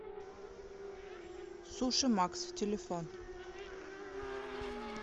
суши макс телефон